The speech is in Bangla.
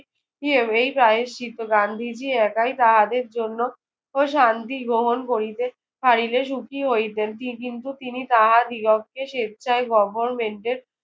গান্ধীজি একাই তাহাদের জন্য শান্তি গ্রহণ করিতে পারিলে সুখী হইতেন। তি কিন্তু তিনি তাহাদিগকে স্বেচ্ছায় government এর